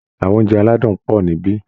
Àwọn Oúnjẹ aládùn pọ̀ níbí